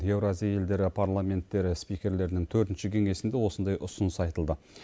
еуразия елдері парламенттері спикерлерінің төртінші кеңесінде осындай ұсыныс айтылды